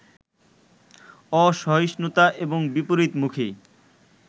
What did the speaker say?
অসহিঞ্চুতা এবং বিপরীতমুখী